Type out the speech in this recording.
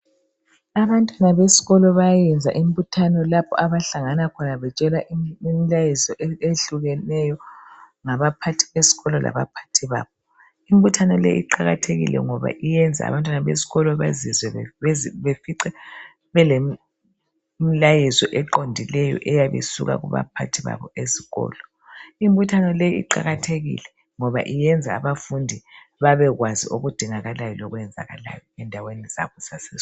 Abantwana besikolo bayayenza imbuthano lapha abahlangana khona betshelwa imilayezo ehlukeneyo ngabaphathi besikolo kanye labaphathi babo. Imbuthano leyi iqakathekile ngoba iyenza abantwana besikolo bezizwe befice belemi milayezo eqondileyo eyabe isuka kubaphathi babo ezikolo . Imbuthano leyi iqakathekile ngoba iyenza abantwana besikolo bezizwe beze befice belemilayezo eqondileyo eyabe isuka kubaphathi babo ezikolo . Imbuthano leyi iqakathekile ngoba iyenza abafundi babekwazi okudingalayo lokwezakalayo endaweni zabo zase.